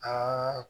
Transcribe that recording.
Aa